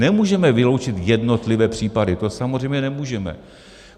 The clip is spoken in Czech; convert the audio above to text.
Nemůžeme vyloučit jednotlivé případy, to samozřejmě nemůžeme.